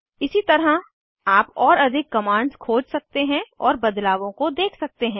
इसी तरह आप और अधिक कमांड्स खोज सकते हैं और बदलावों को देख सकते हैं